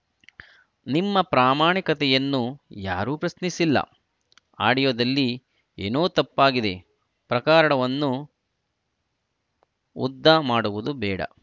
ನಿಮ್ಮ ಪ್ರಾಮಾಣಿಕತೆಯನ್ನು ಯಾರೂ ಪ್ರಶ್ನಿಸಿಲ್ಲ ಆಡಿಯೋದಲ್ಲಿ ಏನೋ ತಪ್ಪಾಗಿದೆ ಪ್ರಕರಣವನ್ನು ಉದ್ದ ಮಾಡುವುದು ಬೇಡ